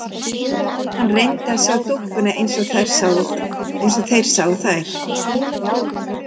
Hann reyndi að sjá dúkkuna eins og þeir sáu þær.